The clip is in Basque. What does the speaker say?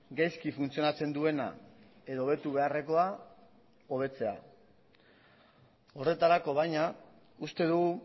gaizki funtzionatzen duena edo hobetu beharrekoa hobetzea horretarako baina uste dugu